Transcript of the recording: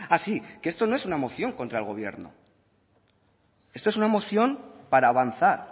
ah sí que esto no es una moción contra el gobierno esto es una moción para avanzar